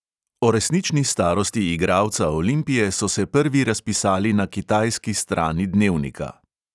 O resnični starosti igralca olimpije so se prvi razpisali na kitajski strani dnevnika.